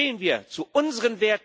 Stehen wir zu unseren Werten!